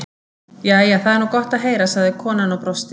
Jæja, það er nú gott að heyra, sagði konan og brosti.